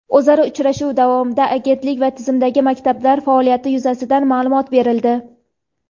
O‘zaro uchrashuv davomida Agentlik va tizimdagi maktablar faoliyati yuzasidan ma’lumot berildi.